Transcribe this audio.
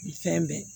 Fɛn bɛɛ